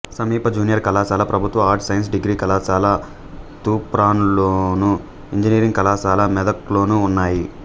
సమీప జూనియర్ కళాశాల ప్రభుత్వ ఆర్ట్స్ సైన్స్ డిగ్రీ కళాశాల తూప్రాన్లోను ఇంజనీరింగ్ కళాశాల మెదక్లోనూ ఉన్నాయి